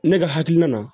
Ne ka hakilina na